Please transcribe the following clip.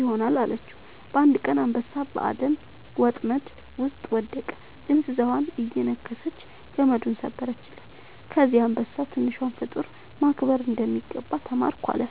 ይሆናል» አለችው። አንድ ቀን አንበሳ በአደን ወጥመድ ውስጥ ወደቀ፤ ጥንዚዛዋ እየነከሰች ገመዱን ሰበረችለት። ከዚያ አንበሳ «ትንሿን ፍጡር ማክበር እንደሚገባ ተማርኩ» አለ